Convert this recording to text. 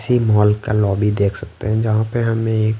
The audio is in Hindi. इसी मॉल का लॉबी देख सकते हैं जहाँ पे हमें--